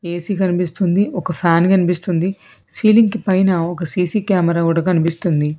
AC కనిపిస్తుంది ఒక fan కనిపిస్తుంది సీలింగ్ పైన ఒక సీసీ కెమెరా కూడా కనిపిస్తుంది.